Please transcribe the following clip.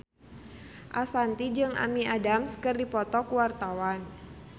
Ashanti jeung Amy Adams keur dipoto ku wartawan